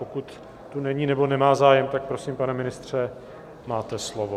Pokud tu není nebo nemá zájem, tak prosím, pane ministře, máte slovo.